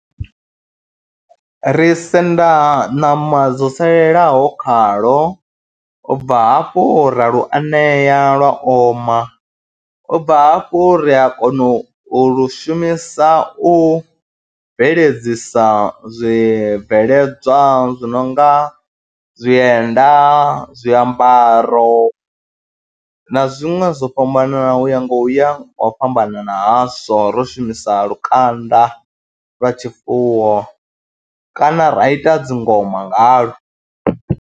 Ri senda ṋama dzo salelaho khalo, u bva hafhu ra lu anea lwa oma, u bva hafho ri a kona u lu shumisa u bveledzisa zwibveledzwa zwi no nga zwienda, zwiambaro na zwiṅwe zwo fhambananaho u ya nga u ya ngo fhambanana hazwo ro shumisa lukanda lwa tshifuwo kana ra ita dzi ngoma ngalo.